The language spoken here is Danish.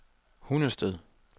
Hundested